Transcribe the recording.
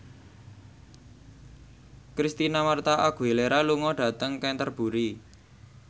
Christina Mar��a Aguilera lunga dhateng Canterbury